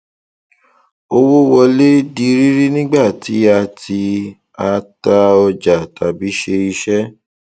owó wọlé di rírí nígbà tí a tí a tà ọjà tàbí ṣe iṣẹ